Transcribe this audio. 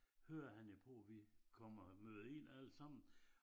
Hører han jo på at vi kommer møder ind alle sammen